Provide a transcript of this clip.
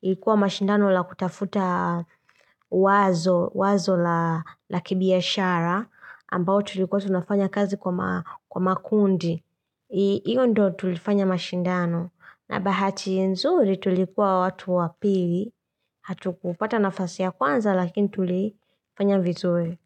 ilikuwa mashindano la kutafuta wazo la kibiashara, ambayo tulikuwa tunafanya kazi kwa makundi. Hiyo ndo tulifanya mashindano. Na bahati nzuri tulikuwa watu wapili, hatu kupata nafasi ya kwanza, lakini tulifanya vizuri.